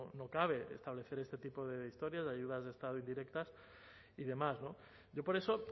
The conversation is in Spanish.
no cabe establecer este tipo de historias de ayudas de estado indirectas y demás yo por eso